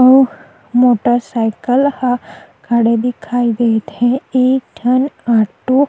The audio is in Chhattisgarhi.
अऊ मोटर साइकिल ह खड़े दिखाई देत हे एक ठन ऑटो --